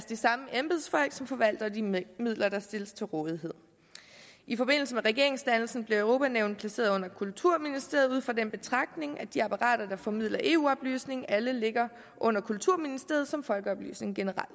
de samme embedsfolk som forvalter de midler der stilles til rådighed i forbindelse med regeringsdannelsen blev europa nævnet placeret under kulturministeriet ud fra den betragtning at de apparater der formidler eu oplysning alle ligger under kulturministeriet som folkeoplysning generelt